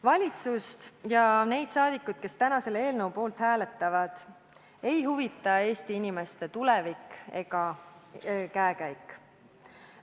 Valitsust ja neid saadikuid, kes täna selle eelnõu poolt hääletavad, ei huvita Eesti inimeste tulevik ega käekäik.